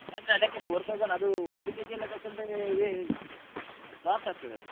ಆದ್ರೆ ಅದಕ್ಕೆ four thousand ಅದು ಒಂದು kg ಎಲ್ಲ ತೊಗೊಂಡ್ರೆ ವೇ~ loss ಆಗ್ತದೆ ಅದು.